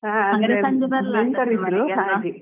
ಹ ಹಾಗೆ ನೆಂಟರು ಬಂಧಿದ್ರು